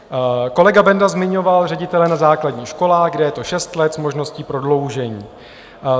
Kolega Benda zmiňoval ředitele na základních školách, kde je to šest let s možností prodloužení.